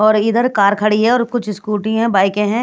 और इधर कार खड़ी है और कुछ स्कूटी हैं बाइके हैं।